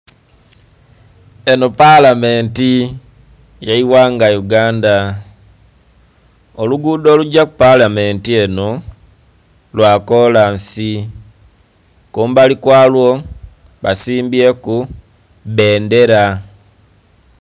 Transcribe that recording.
Eno palamenti eye ghanga Uganda, olugudo olugya kupalamenti eno lwakolansi kumbali kwalwo basimbyeku bbendera.